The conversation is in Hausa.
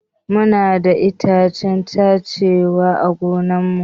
Muna da itacen cashew ã gonan mu.